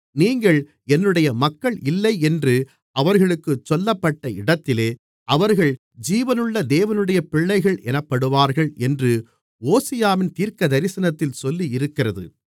நீங்கள் என்னுடைய மக்கள் இல்லை என்று அவர்களுக்குச் சொல்லப்பட்ட இடத்திலே அவர்கள் ஜீவனுள்ள தேவனுடைய பிள்ளைகள் எனப்படுவார்கள் என்று ஓசியாவின் தீர்க்கதரிசனத்தில் சொல்லியிருக்கிறது